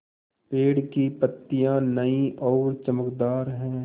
पेड़ की पतियां नई और चमकदार हैँ